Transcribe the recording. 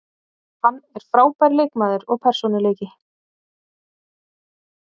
Hann er frábær leikmaður og persónuleiki.